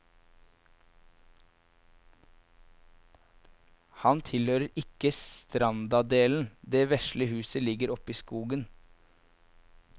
Han tilhører ikke strandadelen, det vesle huset ligger oppi skogen.